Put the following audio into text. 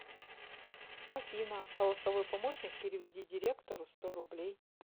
афина голосовой помощник переведи директору сто рублей